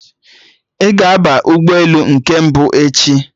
Ị ga-aba ụgbọelu nke mbụ echi?